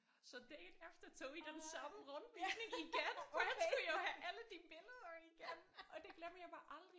Så dagen efter tog vi den samme rundvisning igen for han skulle jo have alle de billeder igen og det glemmer jeg bare aldrig